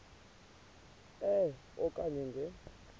e okanye nge